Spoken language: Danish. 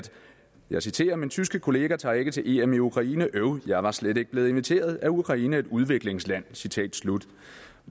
jeg citerer min tyske kollega tager ikke til em i ukraine øv jeg var slet ikke blevet inviteret er ukraine et udviklingsland citat slut